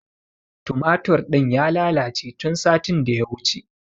Tumatur ɗin ya lalace tun satin da ya wuce.